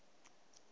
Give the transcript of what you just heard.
july